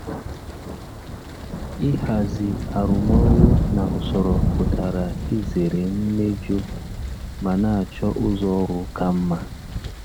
Ịhazi arụmọrụ na usoro pụtara izere mmejọ ma na-achọ ụzọ ọrụ ka mma.